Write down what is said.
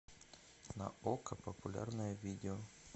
на окко популярное видео